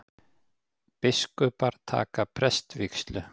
Biskupar taka prestsvígslu